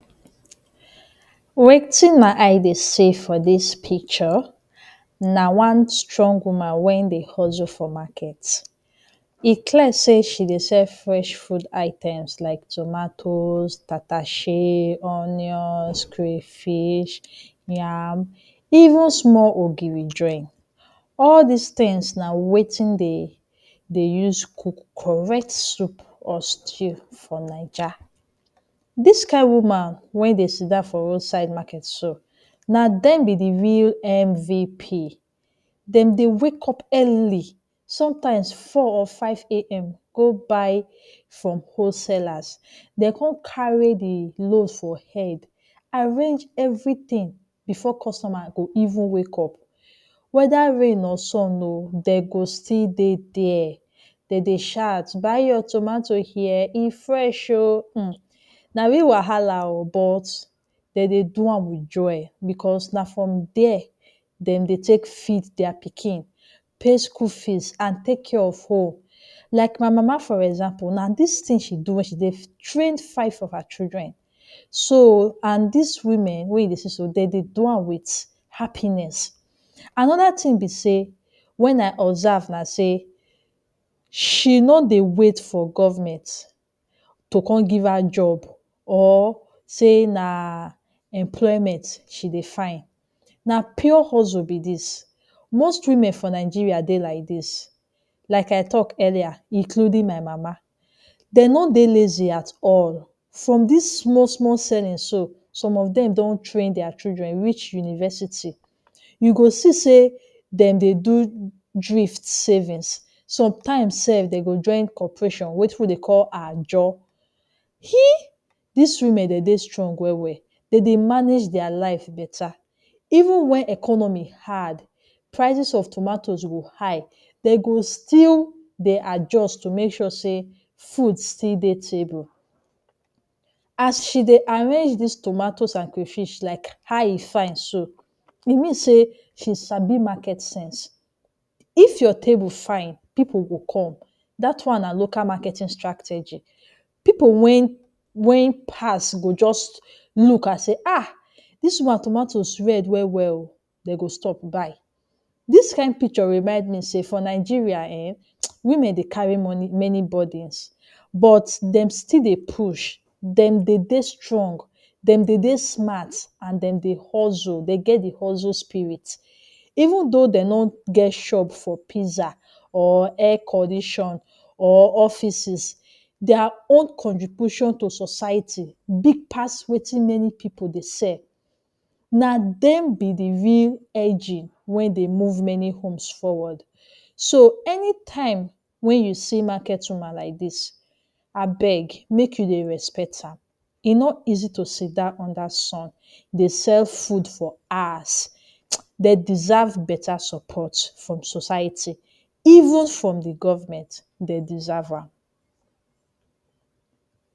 Wetin my eye dey see for dis picture na one strong woman wey dey hustle for market. E clear sey she dey sell fresh food items like tomatoes, tatashe, onions, crayfish, yam, even small ogiri join. All dis tins na wetin de dey use cook correct soup or stew from Naija. Dis kain woman wey dey sit down for roadside market so, na dem be the real MVP. Dem dey wake up early sometimes, four or five a.m. go buy from wholesalers. De con carry the load for head, arrange everything before customer go even wake up. Whether rain or sun oh, de go still dey there. De dey shout “Buy your tomato here. E fresh oh.” Hmm, na real wahala oh, but de dey do am with joy becos na from there dem dey take feed dia pikin, pay school fees, an take care of home. Like my mama for example, na dis tin she do wen she dey train five of her children. So, an dis women wey you dey see so, de dey do am with happiness. Another tin be sey wen I observe na sey she no dey wait for government to con give her job or say na employment she dey find. Na pure hustle be dis. Most women for Nigeria dey like dis. Like I talk earlier, including my mama. De no dey lazy at all. From dis small-small selling so, some of dem don train dia children reach university. You go see sey dem dey do drift savings. Sometimes sef, de go join cooperation, wetin we dey call Ajo. Dis women de dey strong well-well. De dey manage dia life beta. Even wen economy hard, prices of tomatoes go high, de go still dey adjust to make sure sey food still dey table. As she dey arrange dis tomatoes an crayfish, like how e fine so, e mean sey she sabi market sense. If your table fine, pipu go come. Dat one na local marketing strategy. Pipu wen wen pass go juz look an say “Ah dis woman tomatoes red well-well oh”. De go stop buy. Dis kain picture remind me sey for Nigeria ehn, women dey carry money many burdens, but dem still dey push, dem dey dey strong, dem dey dey smart, an dem dey hustle—de get the hustle spirit. Even though de no get shop for pizza, or air condition, or offices, dia own contribution to society big pass wetin many pipu dey sell. Na dem be the real engine wey dey move many homes forward. So, anytime wen you see market woman like dis, abeg, make you dey respect her. E no easy to sit down under sun dey sell food for hours. De deserve beta support from society. Even from the government, de deserve am,